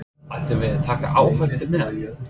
Ættum við að taka áhættu með hann?